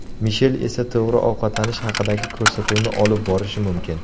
Mishel esa to‘g‘ri ovqatlanish haqidagi ko‘rsatuvni olib borishi mumkin.